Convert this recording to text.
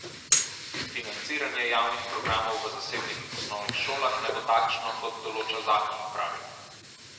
Financiranje javnih programov v zasebnih osnovnih šolah naj bo takšno, kot določa zakon, pravijo.